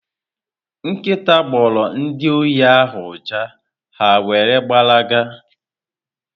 Nkịta gboro ndị ohi ahụ ụja, ha wéré gbara ga